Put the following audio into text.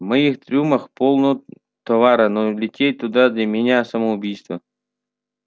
в моих трюмах полно товаров но лететь туда для меня самоубийство